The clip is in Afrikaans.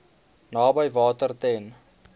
naby water ten